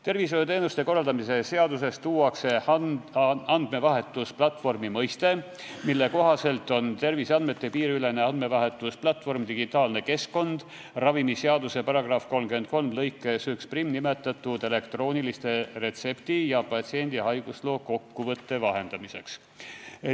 Tervishoiuteenuste korraldamise seadusse tuuakse andmevahetusplatvormi mõiste: terviseandmete piiriülene andmevahetusplatvorm on digitaalne keskkond ravimiseaduse § 33 lõikes 11 nimetatud elektroonilise retsepti ja patsiendi haigusloo kokkuvõtte vahendamiseks.